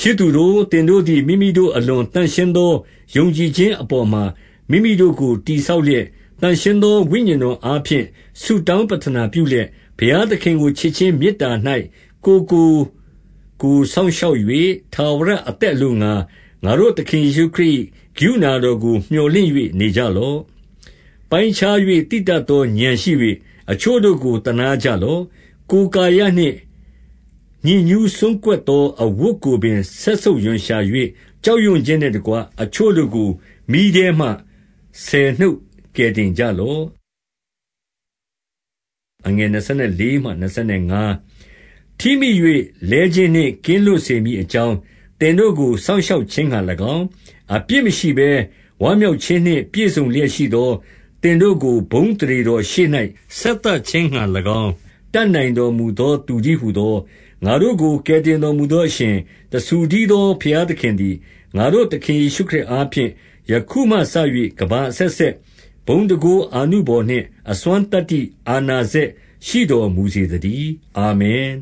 ချစ်သူတို့၊ သင်တို့သည် မိမိတို့အလွန်သန့်ရှင်းသော ယုံကြည်ခြင်းအပေါ်မှာ မိမိတို့ကို တည်ဆောက် လျက်၊ သန့်ရှင်းသောဝိညာဉ်တော်အားဖြင့် ဆုတောင်း ပဌာနပြုလျက်၊ 21 ဘုရားသခင်ကို ချစ်ခြင်းမေတ္တာ၌ ကိုယ်ကိုကိုယ်စောင့်ရှောက်၍ ထာဝရအသက်အလိုငှါ၊ ငါတို့သခင် ယေရှုခရစ်၏ ကရုဏာတော်ကို မြော်လင့်၍ နေကြာလော့။ 22 ပိုင်းခြား၍သိတတ်သော ဥာဏ်ရှိ၍ အချို့တို့ကို သနားကြလော့။ 23 ကိုယ်ကာယနှင့်ညစ်ညူးစွန်းကွက်သော အဝတ်ကိုပင် စက်ဆုပ်ရွံရှာ၍ ကြောက်ရွံ့ခြင်းနှင့်တကွ၊ အချို့ တို့ကို မီးထဲမှ ဆယ်နှုတ်ကယ်တင်ကြလော့။ 24 ထိမိ၍ လဲခြင်းနှင့် ကင်းလွတ်စေမည်အကြောင်း သင်တို့ကို စောင့်ရှောက်ခြင်းငှါ၎င်း၊ အပြစ် မရှိဘဲဝမ်းမြောက်ခြင်းနှင့် ပြည့်စုံလျက်ရှိသော သင်တို့ကို ဘုန်းအသရေတော်ရှေ့၌ ဆက်သခြင်းငှါ၎င်း တတ်နိုင်တော်မူသော သူတည်းဟူသော။ 25 ငါတို့ကို ကယ်တင်တော်မူသောအရှင်၊ တဆူတည်းသောဘုရားသခင်သည်၊ ငါတို့သခင်ယေရှုခရစ် အားဖြင့်၊ ယခုမှစ၍ကမ္ဘာ အဆက်ဆက်ဘုန်းတန်ခိုး အာနုဘော်နှင့် အစွမ်းသတ္တိအာဏာ စက်ရှိတော်မူစေ သတည်း။ အာမင်။